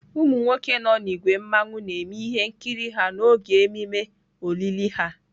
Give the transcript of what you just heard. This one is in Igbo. Umu nwoke nọ n'ìgwè mmawụ na-eme ihe nkịrị ha n'oge ememe olili ha.